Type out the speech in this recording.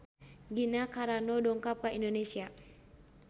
Gina Carano dongkap ka Indonesia